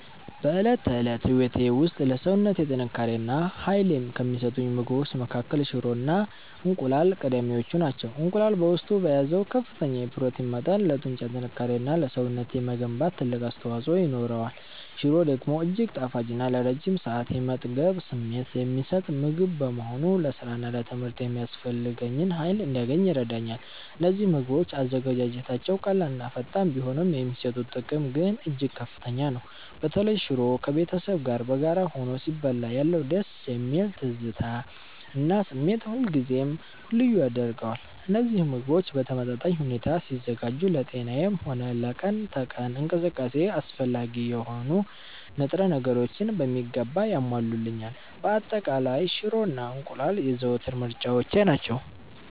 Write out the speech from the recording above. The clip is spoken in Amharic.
በዕለት ተዕለት ሕይወቴ ውስጥ ለሰውነቴ ጥንካሬ እና ኃይል ከሚሰጡኝ ምግቦች መካከል ሽሮ እና እንቁላል ቀዳሚዎቹ ናቸው። እንቁላል በውስጡ በያዘው ከፍተኛ የፕሮቲን መጠን ለጡንቻ ጥንካሬ እና ለሰውነቴ መገንባት ትልቅ አስተዋፅኦ ይኖረዋል። ሽሮ ደግሞ እጅግ ጣፋጭ እና ለረጅም ሰዓት የመጥገብ ስሜት የሚሰጥ ምግብ በመሆኑ ለሥራና ለትምህርት የሚያስፈልገኝን ኃይል እንዳገኝ ይረዳኛል። እነዚህ ምግቦች አዘገጃጀታቸው ቀላልና ፈጣን ቢሆንም፣ የሚሰጡት ጥቅም ግን እጅግ ከፍተኛ ነው። በተለይ ሽሮ ከቤተሰብ ጋር በጋራ ሆኖ ሲበላ ያለው ደስ የሚል ትዝታ እና ስሜት ሁልጊዜም ልዩ ያደርገዋል። እነዚህ ምግቦች በተመጣጣኝ ሁኔታ ሲዘጋጁ ለጤናዬም ሆነ ለቀን ተቀን እንቅስቃሴዬ አስፈላጊ የሆኑ ንጥረ ነገሮችን በሚገባ ያሟሉልኛል። በአጠቃላይ፣ ሽሮ እና እንቁላል የዘወትር ምርጫዎቼ ናቸው።